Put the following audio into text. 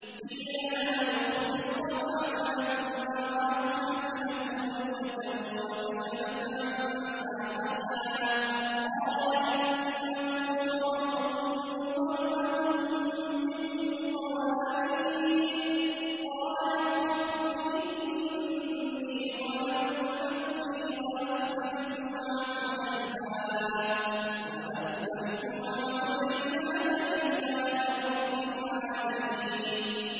قِيلَ لَهَا ادْخُلِي الصَّرْحَ ۖ فَلَمَّا رَأَتْهُ حَسِبَتْهُ لُجَّةً وَكَشَفَتْ عَن سَاقَيْهَا ۚ قَالَ إِنَّهُ صَرْحٌ مُّمَرَّدٌ مِّن قَوَارِيرَ ۗ قَالَتْ رَبِّ إِنِّي ظَلَمْتُ نَفْسِي وَأَسْلَمْتُ مَعَ سُلَيْمَانَ لِلَّهِ رَبِّ الْعَالَمِينَ